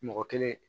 Mɔgɔ kelen